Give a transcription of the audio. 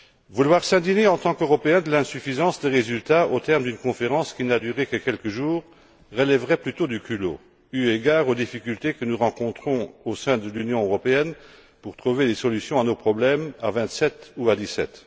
Vouloir s'indigner, en tant qu'Européens, de l'insuffisance des résultats au terme d'une conférence qui n'a duré que quelques jours relèverait de l'impudence, eu égard aux difficultés que nous rencontrons au sein de l'Union européenne pour trouver des solutions à nos problèmes à vingt sept ou à dix sept.